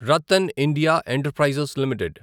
Ratan India enterprises limited